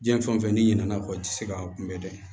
Diɲɛ fɛn o fɛn n'i ɲinɛna kɔ i ti se ka kunbɛn dɛ